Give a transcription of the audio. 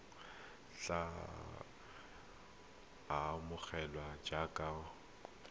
tle a amogelwe jaaka motshabi